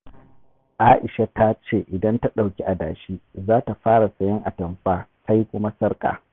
A'isha ta ce 'Idan ta ɗauki adashi, za ta fara sayen atamfa sai kuma sarƙa.